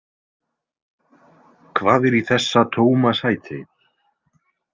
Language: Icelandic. Hvað er í þessa tóma sæti?